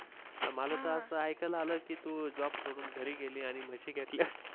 मला त अस ऐकायला आलं की तू Job सोडून घरी गेली आणि म्हशी घेतल्या.